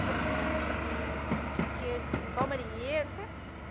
Toda, aquele aqueles, igual marinheiros, sabe?